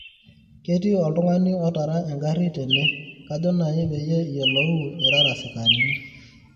ketii oltungani otaara enkari tene kajo naji peyie iyiolou irara sikarinik